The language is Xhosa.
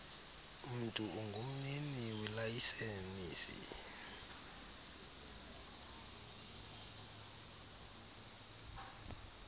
mntu ungumnini welayisenisi